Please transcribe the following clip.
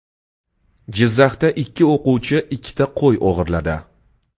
Jizzaxda ikki o‘quvchi ikkita qo‘y o‘g‘irladi.